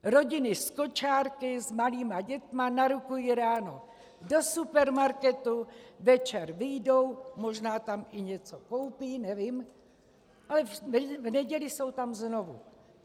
Rodiny s kočárky, s malými dětmi narukují ráno do supermarketu, večer vyjdou, možná tam i něco koupí, nevím, ale v neděli jsou tam znovu.